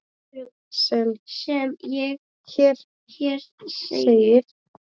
sem hér segir